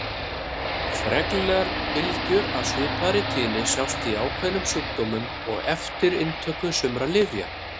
Reglulegar bylgjur af svipaðri tíðni sjást í ákveðnum sjúkdómum og eftir inntöku sumra lyfja.